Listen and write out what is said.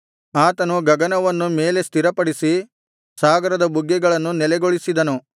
ಆತನು ಗಗನವನ್ನು ಮೇಲೆ ಸ್ಥಿರಪಡಿಸಿ ಸಾಗರದ ಬುಗ್ಗೆಗಳನ್ನು ನೆಲೆಗೊಳಿಸಿದನು